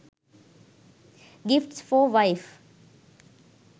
gifts for wife